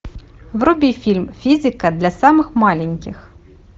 вруби фильм физика для самых маленьких